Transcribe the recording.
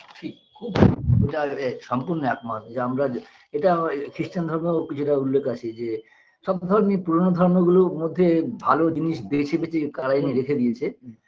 ঠিক খুব যা সম্পূর্ণ একমত যে আমরা এটা খ্রিষ্টান ধর্মও কিছুটা উল্লেখ আছে যে সব ধর্মি পুরোনো ধর্মগুলোর মধ্যে ভালো জিনিস বেছে বেছে কারা এনে রেখে দিয়েছে